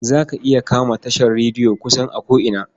Za ka iya kama tashar rediyo kusan a ko'ina.